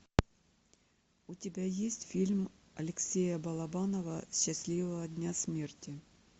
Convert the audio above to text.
у тебя есть фильм алексея балабанова счастливого дня смерти